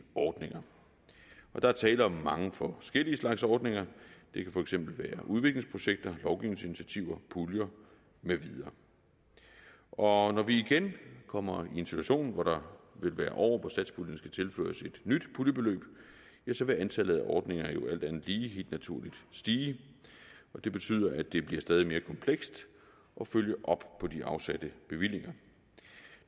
ordninger der er tale om mange forskellige slags ordninger det kan for eksempel være udviklingsprojekter lovgivningsinitiativer puljer med videre når vi igen kommer i en situation hvor der vil være år hvor satspuljen skal tilføres et nyt puljebeløb ja så vil antallet af ordninger jo alt andet lige helt naturligt stige det betyder at det bliver stadig mere komplekst at følge op på de afsatte bevillinger